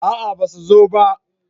a'a ba su zo ba